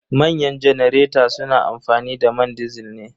Manyan janareta su na amfani da man disil ne.